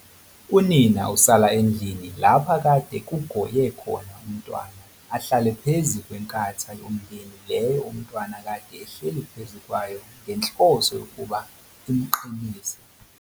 Unina usala endlini lapha kade kugoye khona umntwana ahlale phezu kwenkatha yomndeni leyo umntwana kade ehleli phezu kwayo ngenhloso yokuba imqinise.